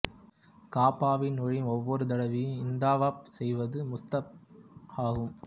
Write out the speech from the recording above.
காபாவில் நுழையும் ஒவ்வொரு தடவையும் இந்த தவாப் செய்வது முஸ்தஹப் ஆகும்